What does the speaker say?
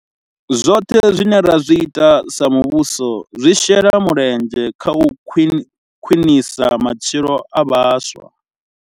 Zwoṱhe zwine ra zwi ita sa muvhuso zwi shela mulenzhe kha u khwiṋisa matshilo a vhaswa.